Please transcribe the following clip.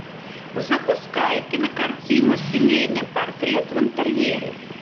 запускай кинокартину семейный портрет в интерьере